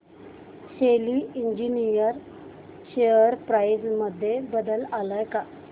शेली engineering share price मध्ये बदल आलाय का